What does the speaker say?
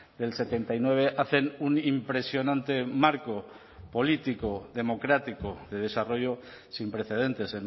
del setenta y nueve hacen un impresionante marco político democrático de desarrollo sin precedentes